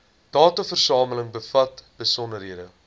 dataversameling bevat besonderhede